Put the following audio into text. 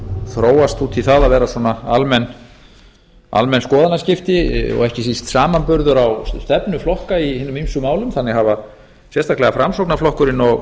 þróast út í það að vera svona almenn skoðanaskipti og ekki síst samanburður á stefnu flokka í hinum sáu málum þannig hafa sérstaklega framsóknarflokkurinn og